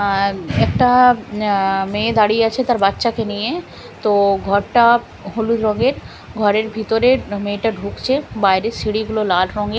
আর একটা আঃ মেয়ে দাঁড়িয়ে আছে তার বাচ্চাকে নিয়ে তো ঘরটা হলুদ রঙের ঘরের ভিতরের মেয়েটা ঢুকছে বাইরের সিঁড়িগুলো লাল রঙের।